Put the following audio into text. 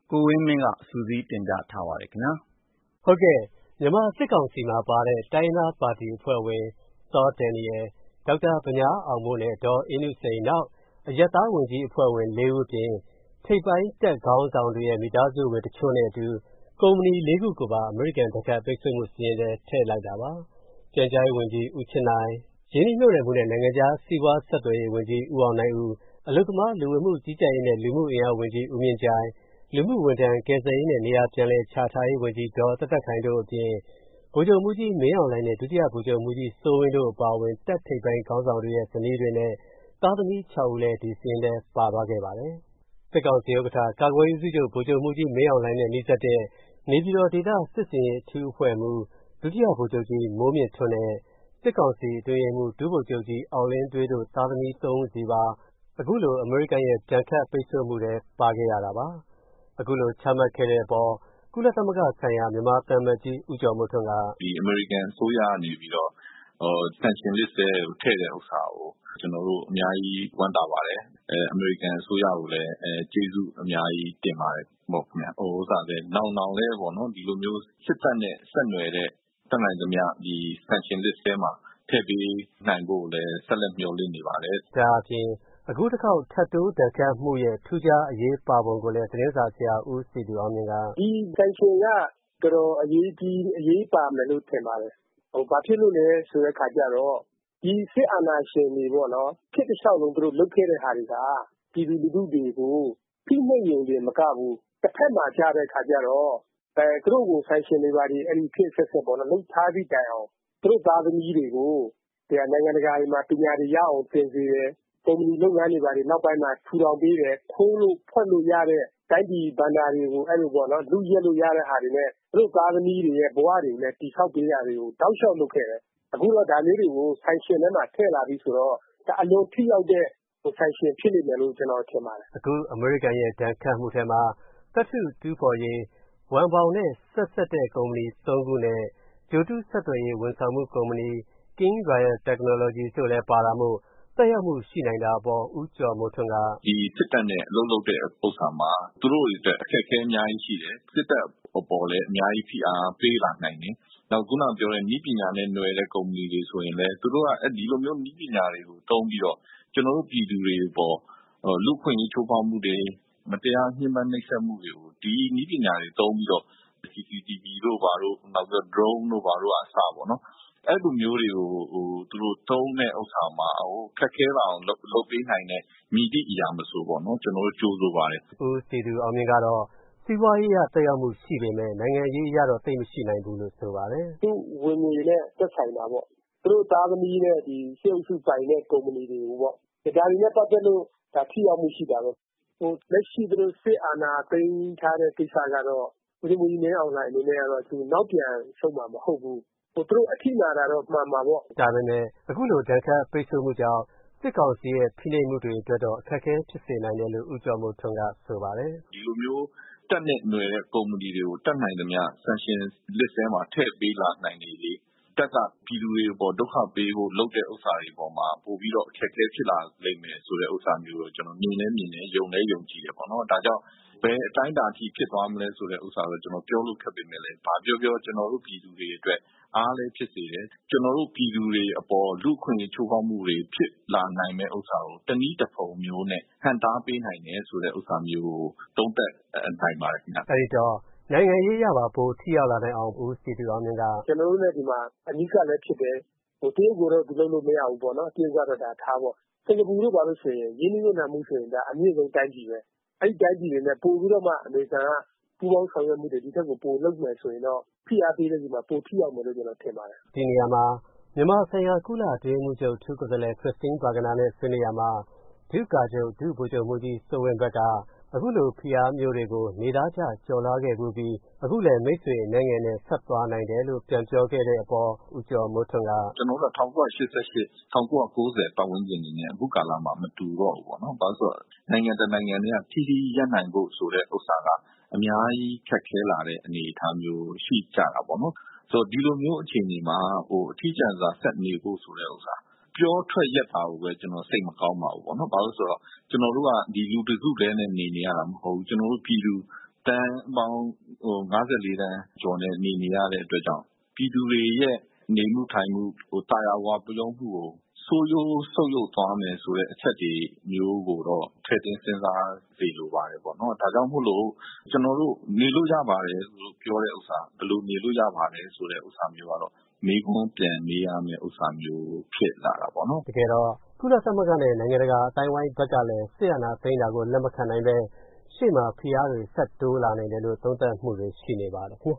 ကိုဝင်းမင်း ။.။ ဟုတ်ကဲ့ ၊မြန်မာစစ်ကောင်စီမှာပါတဲ့ တိုင်းရင်းသားပါတီအဖွဲ့ဝင် စောဒယ်နီရယ်၊ ဒေါက်တာဗညားအောင်မိုး နဲ့ ဒေါ်အေးနုစိန် ၊ အရပ်သားဝန်ကြီးအဖွဲ့ဝင်လေးဦးအပြင် နောက်ထိပ်ပိုင်းတပ်ခေါင်းဆောင်တချို့ ရဲ့ မိသားစုဝင်တချို့နဲ့အတူ ကုမ္ပဏီလေးခုကိုပါ အမေရိကန်ဒဏ်ခတ် ပိတ်ဆို့မှု စာရင်းထဲထဲ့လိုက်တာပါ။ ပြန်ကြားရေးဝန်ကြီး ဦးချစ်နိုင်၊ ရင်းနှီးမြုတ်နှံမှုနဲ့ နိုင်ငံခြားစီးပွားဆက်ဆံရေးဝန်ကြီး ဦးအောင်နိုင်ဦး၊ အလုပ်သမား လူဝန်မှုကြီးကြပ်ရေးနဲ့ လူမှုအင်အားဝန်ကြီး ဦးမြင့်ကြိုင် ၊ လူမှုဝန်ထမ်း ကယ်ဆယ်ရေးနဲ့ ပြန်လည်နေရာချထားရေးဝန်ကြီး ဒေါ်သက်သက်ခိုင် တို့အပြင် ဗိုလ်ချုပ်မှူးကြီး မင်းအောင်လှိုင် နဲ့ ဒုတိယဗိုလ်ချုပ်မှူးကြီး စိုးဝင်း တို့အပါအဝင် တပ်ထိပ်ပိုင်း ခေါင်းဆောင်တွေရဲ့ ဇနီးတွေနဲ့ သားသမီး ၆ ဦးလည်း ဒီစာရင်းထဲပါသွားခဲ့ပါတယ်။ စစ်ကောင်စီဥက္ကဌ ကာကွယ်ရေးဦးစီးချုပ် ဗိုလ်ချုပ်မှူးကြီး မင်းအောင်လှိုင်နဲ့ နီးစပ်တဲ့ နေပြည်တော်ဒေသစစ်ဆင်ရေးအဖွဲ့မှူး ဒုတိယဗိုလ်ချုပ်ကြီး မိုးမြင်းထွန်း နဲ့ စစ်ကောင်စီအတွင်းရေးမှူး ဒုဗိုလ်ချုပ်ကြီး အောင်လင်းဒွေး တို့ သားသမီးသုံးဦးစီပါ အခုလို အမေရိကန်ရဲ့ ဒဏ်ခတ်ပိတ်ဆို့မှုထဲပါခဲ့ရတာပါ။ အခုလိုချမှတ်ခဲ့တဲ့အပေါ် ကုလသမဂ္ဂဆိုင်ရာ မြန်မာသံအမတ်ကြီး ဦးကျော်မိုးထွန်း က.... ဦးကျော်မိုးထွန်း ။. ။ အမေရိကန်အစိုးရကနေပြီးတော့ Sanction Lists ထဲ ထဲ့တာကို ကျနော်တို့ အများကြီးဝမ်းသာပါတယ်။ အမေရိကန်အစိုးရကိုလည်း ကျေးဇူးအများကြီးတင်ပါတယ်။ နောင်လည်း ဒီလိုမျိုးစစ်တပ်နဲ့ တပ်နိုင်သမျှ Sanction Lists ထဲကို ထဲ့ပေးနိုင်ဖို့ ဆက်လက်မျှော်လင့်နေပါတယ်။ ကိုဝင်းမင်း ။. ။ ဒါအပြင် အခုတခေါက် ထပ်တိုးဒဏ်ခတ်မှုရဲ့ ထူးခြားအရေးပါပုံကို သတင်းစာဆရာ ဦးစည်သူအောင်မြင့် က........ ဦးစည်သူအောင်မြင့် ။. ။ ဒီ Saction က တော်တော်အရေးပါမယ်ထင်ပါတယ်။ ဘာဖြစ်လို့လည်းဆိုတော့ ဒီစစ်အာဏာရှင်တွေပေါ့နော်။ ခေတ်တလျှောက်လုံးသူတို့လုပ်ခဲ့တဲ့ဟာတွေက ပြည်သူလူထုတွေကို ဖိနိုပ်နေရုံမကဘူး တဖက်မှာကြတော့ သူတို့ကို Saction တွေဘာတွေ လုပ်ထားသည့်တိုင်အောင် သူတို့သားသမီးတွေကို နိုင်ငံတကာတွေမှာ ပညာတွေရအောင်သင်စေတယ်။ ကုမ္ပဏီလုပ်ငန်းတွေဘာတွေ နောက်ပိုင်းမှာ ထူထောင်စေတယ်။ ခိုးလို့ဝှက်လို့ရတဲ့ တိုင်းပြည် ဘဏ္ဌာတွေကို လု့ယက်လို့ရတဲ့ဟာတွေနဲ့ သူတို့သားသမီးတွေအတွက် တောက်လျှောက်တည်ဆောက် လုပ်ခဲ့တယ်။ အခုတော့ဒါမျိုးတွေကို Saction ထဲမှာ ထဲ့လာပြီဆိုတော့ အလွန်ထိရောက်တဲ့ Saction ဖြစ်မယ်လို့ထင်ပါတယ်။ ကိုဝင်းမင်း ။.။ အခုအမေရိကန်ရဲ့ ဒဏ်ခတ်မှုထဲမှာ သတ္ထုတူးဖော်ရေး ဝန်ဘောင်ကုမ္ပဏီနဲ့ ဆက်စပ်တဲ့ ကုမ္ပဏီသုံးခုနဲ့ ဂြိုလ်တု့ဆက်သွယ်ရေး ဝန်ဆောင်မှု ကုမ္ပဏီ King Royal Technology ကုမ္ပဏီ တို့လည်း ပါဝင်တာမို့ သက်ရောက်မှုရှိနိုင်တဲ့အပေါ် ဦးကျော်မိုးထွန်း က....... ဦးကျော်မိုးထွန်း ။.။ ဒီစစ်တပ်နဲ့ အလုပ်လုပ်တဲ့ဟာမှာ သူတို့တွေအတွက် အခက်ခဲအများကြီးရှိတယ်။ စစ်တပ်အပေါ်လည်း အများကြီးဖိအားပေးလာနိုင်တယ်။ အခုနကပြောတဲ့ နည်းပညာနဲ့နွှယ်တဲ့ ကုမ္ပဏီတွေဆိုရင်လည်း ဒီလိုမျိုး နည်းပညာတွေသုံးပြီးတော့ လူ့အခွင့်အရေးချိုးဖောက်မှုတွေ မတရားညှင်းပန်းမှုတွေကို ဒီနည်းပညာတွေသုံးပြီးတော့ CCTVတို့ Drone တို့ဘာတို့က အဲဒီလိုမျိုးသုံးလာတာကို ခက်ခဲလာအောင်လုပ်ပေးနိုင်တဲ့ မည်သည့်အရာကိုမဆို ကျနော်တို့ကြိုဆိုပါတယ်။ ကိုဝင်းမင်း ။.။ ဦးစည်သူအောင်မြင့် ကတော့ စီးပွားရေးအရသက်ရောက်မှုရှိပေမယ့် နိုင်ငံရေးအရတော့ သိပ်မရှိနိုင်ဘူးလို့ဆိုပါတယ်။ ဦးစည်သူအောင်မြင့်။. ။ သူဝင်ငွေနဲ့ သက်ဆိုင်တာပေါ့။ သူတို့သားသမီးတွေနဲ့ စစ်အုပ်စုပိုင်တဲ့ ကုမ္ပဏီတွေကိုပေါ့ ။ ဒါတွေနဲ့ပတ်သက်လို့ ထိရောက်မှုရှိတာပေါ့။ လက်ရှိစစ်အာဏာသိမ်းထားတဲ့ ကိစ္စကတော့ ဗိုလ်ချုပ်မှူးကြီးမင်းအောင်လှိုင် အနေနဲ့ကတော့ နောက်ပြန်ဆုတ်မှာ မဟုတ်ဘူး။ သူတို့အထိနာမှာတော့ မှန်မှာပေါ့။ ကိုဝင်းမင်း ။.။ ဒါပေမယ့် အခုလို ဒဏ်ခတ်ပိတ်ဆိုမှုတွေကြောင့် စစ်ကောင်စီရဲ့ ဖိနိုပ်မှုတွေကိုတော့ အခက်ခဲဖြစ်စေတယ်လို့ ဦးကျော်မိုးထွန်း ကဆိုပါတယ်။ ဦးကျော်မိုးထွန်း ။. ။ ဒီလိုမျိုးတပ်နဲ့နွှယ်တဲ့ ကုမ္ပဏီတွေကို Saction List ထဲမှာ ထဲ့နိုင်လေလေ တပ်ကပြည်သူတွေအပေါ်ဒုက္ခပေးဖို့လုပ်တဲ့အပေါ်မှာ ပိုပြီးတော့ အခက်ခဲဖြစ်လာလိမ့်မယ်ဆိုတဲ့အပေါ်မှာ ကျနော်မြင်လည်းမြင်တယ်။ ယုံလည်းယုံကြည်တယ်။ ဘယ်အတိုင်းအတာထိဖြစ်လာမလဲဆိုတာကိုတော့ ကျနော်ပြောလိုခက်ပေမယ့်လည်း ဘာပြောပြော ကျနော်တို့ပြည်သူတွေအတွက် အားလည်းဖြစ်စေတယ်။ ကျနော်တို့ပြည်သူတွေအပေါ်လူ့အခွင့်အရေး ချိုးဖောက်မှုတွေဖြစ်လာနိုင်တယ်အပေါ်မှာ တနည်းတဖုံနဲ့ ဟန့်တားပေးနိုင်တယ်ဆိုတာကို သုံးသပ်နိုင်ပါတယ်ခင်ဗျ။ ကိုဝင်းမင်း ။.။ အဲဒီတော့ နိုင်ငံရေးအရပါ ပိုထိရောက်လာနိုင်အောင် ဦးစည်သူအောင်မြင့် က..... ဦးစည်သူအောင်မြင့် ။ ။ ကျနော်တို့လည်း ဒီမှာ အနီးကပ်လည်းဖြစ်တယ်။ တရုတ်ကိုတော့ သူလုပ်လို့မရဘူးပေါ့နော်။ တရုတ်ကတော့ ထားတော့။ စင်္ကာပူတို့ဘာတို့ဆိုရင် ရင်းနှီးမြုတ်နှံမှုမှာ အမြင့်ဆုံး တိုင်းပြည်ပဲ။ အဲဒီတိုင်းပြည်တွေနဲ့ ပိုပြီးတော့မှ အမေရိကန်က ပူးပေါင်းဆောင်ရွက်မှုတွေ ဒီထက်ပိုလုပ်မယ်ဆိုရင်တော့ ဖိအားပေးတဲ့အခါပိုထိရောက်မယ်ထင်ပါတယ်။ ကိုဝင်းမင်း ။.။ ဒီနေရာမှာ မြန်မာနိုင်ငံဆိုင် ကုလအတွင်းရေးမှူးချုပ်ရဲ့ အထူးကိုယ်စားလှယ် Christine Schraner Burgener နဲ့ ဆွေးနွေးရာမှာ ဒု့ကာချုပ် ဒုဗိုလ်ချုပ်မှူးကြီး စိုးဝင်း ဖက်က အခုလိုဖိအားမျိုးတွေကို နေသားကျ ကျော်လွှာခဲ့ဖူးပြီး အခုလည်း မိတ်ဆွေအနည်းငယ်နဲ့ ဆက်သွားနိုင်တယ်လို့ ပြန်ပြောခဲ့တဲ့အပေါ် ဦးကျော်မိုးထွန်း က....... ဦးကျော်မိုးထွန်း ။.။ ကျနော်တို့က ၁၉၈၈ ၊ ၁၉ ၉ ဝပတ်ဝန်ကျင်တွေနဲ့ အခုကာလမှာ မတူတော့ဘူးပေါ့နော်။ နိုင်ငံတနိုင်ထဲက ထီးထီးကြီးရပ်နိုင်တယ်ဆိုတဲ့အပေါ်မှာ အများကြီးခက်ခဲလာတဲ့အနေအထားမျိုးရှိကြတာပေါ့နော်။ ဒီလိုမျိုးအခြေအနေမှာ အထီးကျန်စွာဆက်နေဖို့ဆိုတာ ပြောထွက်ရက်တာကို စိတ်မကောင်းပါဘူး။ ကျနော်တို့က လူတစု့ထဲနဲ့နေနေရတာမဟုတ်ဘူး။ သန်းပေါင်း၅၄ သန်းနဲ့နေနေရတဲ့အတွက်ကြောင့် လူတွေရဲ့နေမှုထိုင်မှု သာယာဝပြောမှုကို ဆိုးဝါးဆုတ်ယုတ်သွားမယ်ဆိုတဲ့အချက်ကိုတော့ စဉ်းစားစေချင်ပါတယ်ပေါ့နော်။ ဒါကြောင့်မိုလို့ ကျနော်တို့နေလို့ရပါတယ်လို့ ပြောတဲ့ဟာက ဘယ်လိုနေလို့ရပါသလဲလို့ မေးခွန်းပြန်မေးရမယ်ဖြစ်လာတာပေါ့နော်။ ကိုဝင်းမင်း ။. ။ တကယ်တော့ ကုလသမဂ္ဂနဲ့ နိုင်ငံတကာအသိုင်းအဝိုင်းကလည်း စစ်အာဏာသိမ်းတာကို လက်မခံပဲ ရှေ့မှာ ဖိအားတွေဆက် တိုးလာနိုင်တယ်လို့ သုံးသပ်မှုတွေရှိနေပါတယ်ခင်ဗျ